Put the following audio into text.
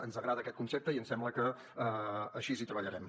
ens agrada aquest concepte i ens sembla que així hi treballarem